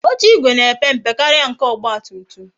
Oche igwe na-epe mpe karịa nke ọgba tum tum